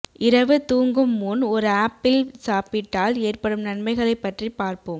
இரவு தூங்கும் முன் ஒரு ஆப்பிள் சாப்பிட்டால் ஏற்படும் நன்மைகளைப் பற்றி பார்ப்போம்